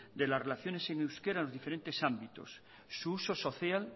de las relaciones en euskera en diferentes ámbitos su uso social